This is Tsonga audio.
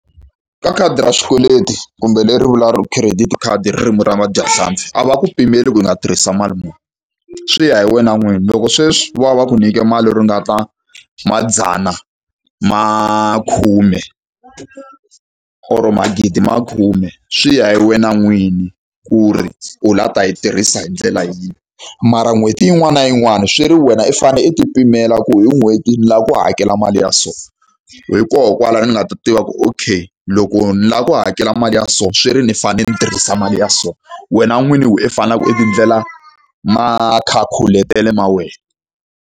Ka khadi ra swikweleti kumbe leri vuriwaka credit khadi hi ririmi ra vadyahlampfi, a va ku pimeli ku i nga tirhisa mali muni, swi ya hi wena n'wini. Loko sweswi vo va va ku nyikete mali ringana madzana ma khume or magidi ma khume, swi ya hi wena n'wini ku ri u lava ta yi tirhisa hi ndlela yihi. Mara n'hweti yin'wana na yin'wani swi ri wena i fanele i ti pimela ku hi n'hweti ni lava ku hakela mali ya so. Hikokwalaho ni nga ta tiva ku okay, loko ni lava ku hakela mali ya so swi ri ni fanele ni tirhisa mali ya so. Wena n'wini hi wena i faneleke i ti endlela makhakhuletele ma wena.